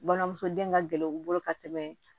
Balimamuso den ka gɛlɛn u bolo ka tɛmɛ